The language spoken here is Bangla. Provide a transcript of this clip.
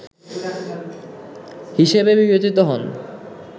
হিসেবে বিবেচিত হন